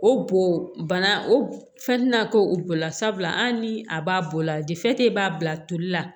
O bo bana o fɛn tɛna k'o bolola sabula hali ni a b'a bɔ o la b'a bila toli la